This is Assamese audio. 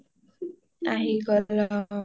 অ আহি গল অ অ অ